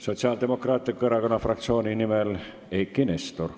Sotsiaaldemokraatliku Erakonna fraktsiooni nimel Eiki Nestor.